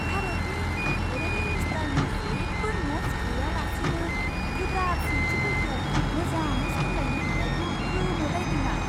भारतनि फ'रेन मिनिस्टारनि जेबो न'ट्स गैयालासेनो गोब्राब सोंथिफोरखौ मोजाङै सामलायनो हानायखौ गोमोलायदों आं!